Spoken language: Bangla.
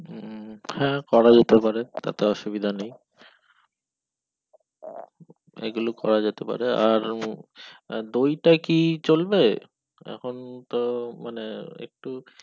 হ্যাঁ করা যেতে পারে তাতে অসুবিধা নেই আহ এই গুলো করা যেতে পারে আর দই টা কি চলবে এখন তো মানে একটু